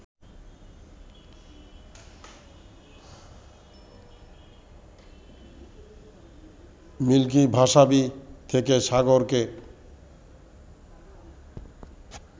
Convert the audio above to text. milky ভাসাবী থেকে সাগরকে